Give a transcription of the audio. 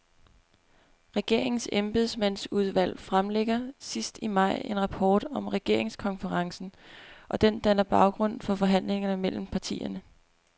Regeringens embedsmandsudvalg fremlægger sidst i maj en rapport om regeringskonferencen, og den danner baggrund for forhandlingerne mellem partierne.